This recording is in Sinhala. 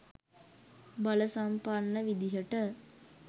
බල සම්පන්න විදිහට